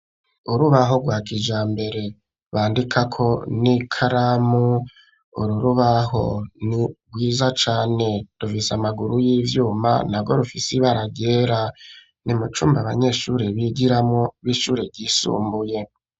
Urubaho rwa kijambere bandikako n'ikaramu, uru rubaho ni rwiza cane, rufise amaguru y'ivyuma narwo rufise ibara ryera, ni mu cumba abanyeshuri bigiramwo b'ishure ryisumbuye.